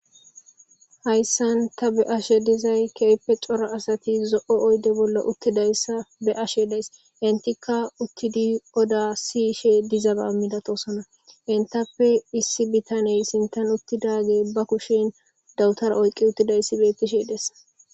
Hayssan ta be ashe dizay keepe cora asati zo7o oyde bolla uttidayssa be ashe days intikka uttidi oda siishe dizaba midatosona entappe issi bitaney sintan uttidage ba kushin dawutara oyqqi uttida issi bettishe dessa.